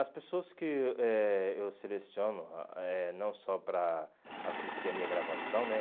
As pessoas que eh eu seleciono, ah eh não só para assistir a minha gravação, né?